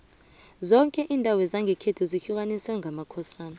zoke indawo zangekhethu zihlukaniswe ngamakhosana